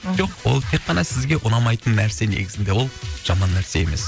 жоқ ол тек қана сізге ұнамайтын нәрсе негізінде ол жаман нәрсе емес